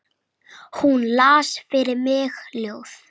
Hún las fyrir mig ljóð.